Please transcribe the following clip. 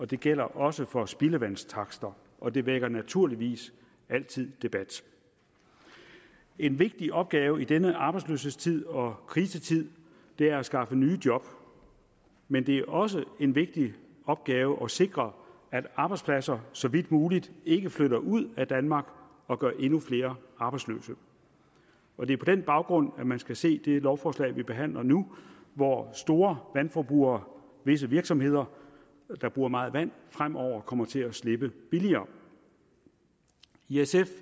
det gælder også for spildevandstakster og det vækker naturligvis altid debat en vigtig opgave i denne arbejdsløshedstid og krisetid er at skaffe nye job men det er også en vigtig opgave at sikre at arbejdspladser så vidt muligt ikke flytter ud af danmark og gør endnu flere arbejdsløse og det er på den baggrund man skal se det lovforslag vi behandler nu hvor store vandforbrugere visse virksomheder der bruger meget vand fremover kommer til at slippe billigere i sf